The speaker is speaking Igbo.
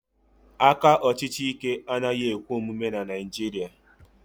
aka ọchịchị Ike anaghị ekwe omume na Naijiria